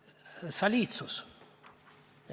Edasi, soliidsus.